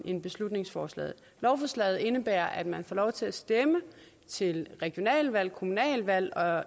end beslutningsforslaget lovforslaget indebærer at man får lov til at stemme til regionalvalg kommunalvalg og